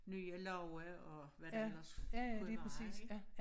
Nye love og hvad der ellers kunne være ik